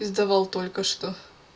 сдавал только что